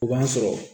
O b'a sɔrɔ